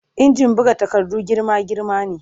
Injin buga takarda girma-girma ne